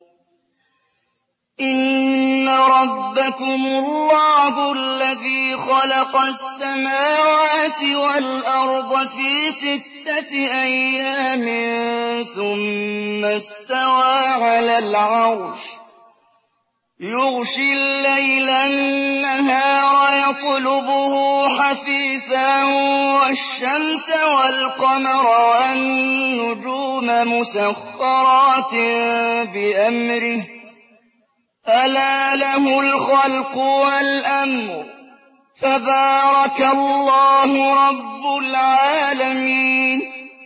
إِنَّ رَبَّكُمُ اللَّهُ الَّذِي خَلَقَ السَّمَاوَاتِ وَالْأَرْضَ فِي سِتَّةِ أَيَّامٍ ثُمَّ اسْتَوَىٰ عَلَى الْعَرْشِ يُغْشِي اللَّيْلَ النَّهَارَ يَطْلُبُهُ حَثِيثًا وَالشَّمْسَ وَالْقَمَرَ وَالنُّجُومَ مُسَخَّرَاتٍ بِأَمْرِهِ ۗ أَلَا لَهُ الْخَلْقُ وَالْأَمْرُ ۗ تَبَارَكَ اللَّهُ رَبُّ الْعَالَمِينَ